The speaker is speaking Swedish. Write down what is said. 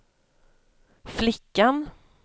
flickan